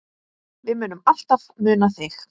Við munum alltaf muna þig.